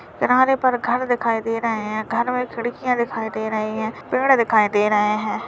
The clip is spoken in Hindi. किनारे पर घर दिखाई दे रहे हैं घर में खिड़कियां दिखाई दे रही हैं पेड़ दिखाई दे रहे हैं।